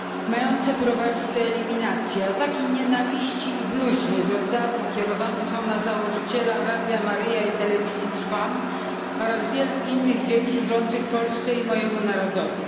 mające prowadzić do eliminacji. Ataki nienawiści i bluźnierstw od dawna kierowane są na założyciela Radia Maryja i Telewizji Trwam oraz wielu innych dzieł służących Polsce i mojemu narodowi.